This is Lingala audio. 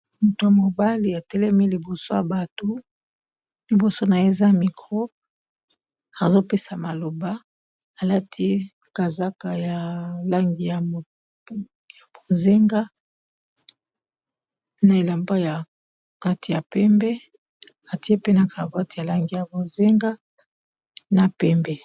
Moto ya mobali atelemi liboso ya bato liboso na ye eza mikro azopesa maloba alati kazaka ya langi ya bozenga na elemba ya kati ya pembe atie pena cravate ya langi ya bozenga na pembe.